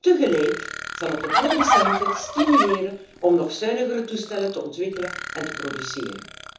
Tegelijk zal het de producenten stimuleren om nog zuinigere toestellen te ontwikkelen en te produceren.